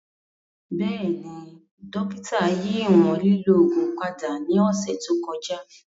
Bẹẹni, dokita yi iwọn lilo oogun pada ni ọsẹ to kọja.